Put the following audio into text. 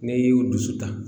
Ne y'u dusu ta